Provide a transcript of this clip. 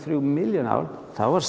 milljón ár þá er